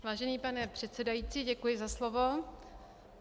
Vážený pane předsedající, děkuji za slovo.